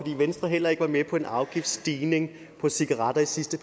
venstre heller ikke var med på en afgiftsstigning på cigaretter i sidste